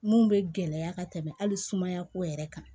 Mun bɛ gɛlɛya ka tɛmɛ hali sumaya ko yɛrɛ kan